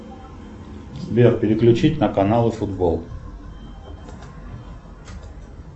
сбер переключить на каналы футбол